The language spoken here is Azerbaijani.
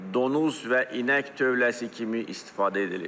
donuz və inək tövləsi kimi istifadə edilib.